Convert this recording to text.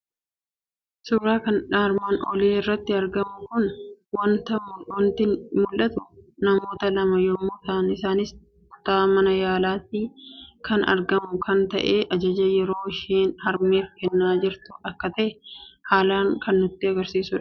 Suuraa armaan olitti argamu irraa waanti mul'atu; namoota lama yommuu ta'an, isaanis kutaa mana yaalaatti kan argamu kan ta'ee ajaja yeroo isheen harmeef kennaa jirtu akka ta'e haalan kan nutti agarsiisudha.